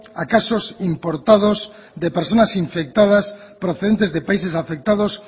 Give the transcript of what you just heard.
a casos importados de personas infectadas procedentes de países afectados